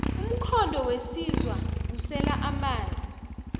umthondo wensizwa kusela amanzi